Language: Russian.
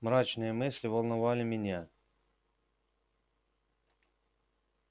мрачные мысли волновали меня